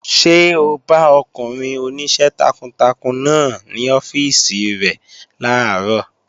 Ṣé o bá ọkùnrin oníṣẹ́ takuntakun náà ní ọ́fíìsì rẹ̀ làárọ̀?